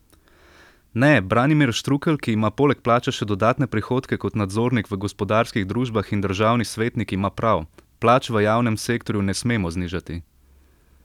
Ne, Branimir Štrukelj, ki ima poleg plače še dodatne prihodke kot nadzornik v gospodarskih družbah in državni svetnik ima prav, plač v javnem sektorju ne smemo znižati!